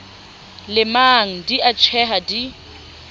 lemang di a tjheha di